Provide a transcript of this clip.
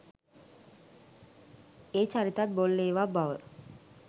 ඒ චරිතත් බොල් ඒවා බව?